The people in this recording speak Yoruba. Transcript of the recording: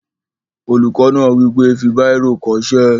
Olùkọ́ náà wí pé, "fi bírò kọ ṣé!"